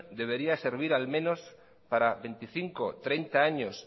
debería servir al menos para veinticinco treinta años